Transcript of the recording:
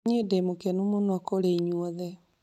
Nĩ ndĩ mũkenu mũno kũrĩ inyuothe